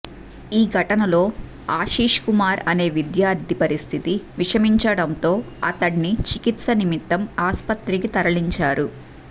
ఈ ఘటనలో ఆశిష్ కుమార్ అనే విద్యార్థి పరిస్థితి విషమించడంతో అతడ్ని చికిత్స నిమిత్తం ఆస్పత్రికి తరలించారు